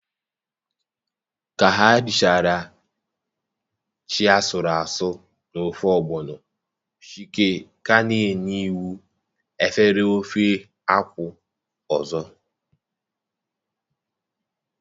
ka ha richara yam na ofe ogbono, Chike ka na-enye iwu extra efere ofe banga.